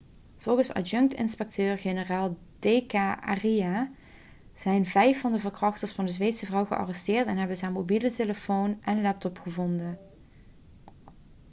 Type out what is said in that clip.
volgens adjunct-inspecteur-generaal d k arya zijn vijf van de verkrachters van de zweedse vrouw gearresteerd en hebben ze haar mobiele telefoon en laptop gevonden